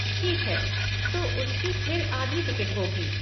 ठीक है, तो उसकी फिर आधी टिकट होगी।